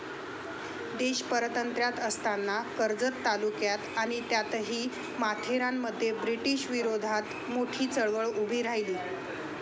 देश पारतंत्र्यात असताना कर्जत तालुक्यात आणि त्यातही माथेरानमध्ये ब्रिटिशविरोधात मोठी चळवळ उभी राहीली.